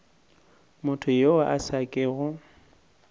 motho yo a sa kego